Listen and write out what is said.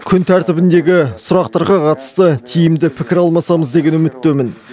күн тәртібіндегі сұрақтарға қатысты тиімді пікір алмасамыз деген үміттемін